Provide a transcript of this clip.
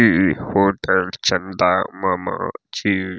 इ होटल चंदा मामा छी।